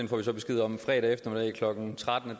får så besked om fredag eftermiddag klokken tretten at